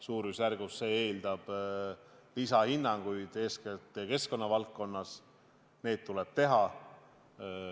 Selle lõigu rajamine eeldab lisahinnanguid, eeskätt keskkonnavaldkonnas, ja need tuleb teha.